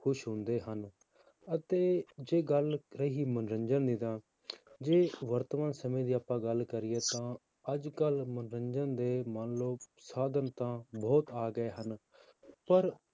ਖ਼ੁਸ਼ ਹੁੰਦੇ ਹਨ, ਅਤੇ ਜੇ ਗੱਲ ਰਹੀ ਮਨੋਰੰਜਨ ਦੀ ਤਾਂ ਜੇ ਵਰਤਮਾਨ ਸਮੇਂ ਦੀ ਆਪਾਂ ਗੱਲ ਕਰੀਏ ਤਾਂ ਅੱਜ ਕੱਲ੍ਹ ਮਨੋਰੰਜਨ ਦੇ ਮੰਨ ਲਓ ਸਾਧਨ ਤਾਂ ਬਹੁਤ ਆ ਗਏ ਹਨ, ਪਰ